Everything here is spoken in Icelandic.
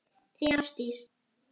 Þín Ásdís.